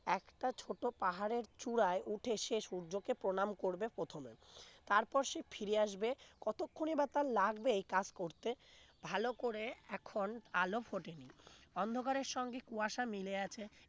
একটা ছোট পাহাড়ের চূড়ায় উঠে সে সূর্যকে প্রণাম করবে প্রথমে তারপর সে ফিরে আসবে কতক্ষণই বা তার লাগবে এই কাজ করতে ভালো করে এখন আলো ফোটেনি অন্ধকারের সঙ্গে কুয়াশা মিলে আছে